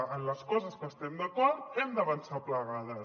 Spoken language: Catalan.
en les coses que estem d’acord hem d’avançar plegades